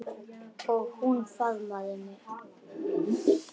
Og hún faðmaði mig.